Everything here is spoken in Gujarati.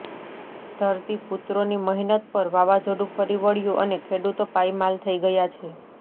ધરતીપુત્રોની મહેનત પર વાવાઝોડું ફરી વળ્યું અને ખેડૂતો પાયમાલ થઈ ગયા છે